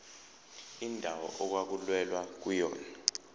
indawo okwakulwelwa kuyona